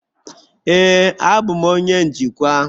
Ee, abụ m onye njikwa.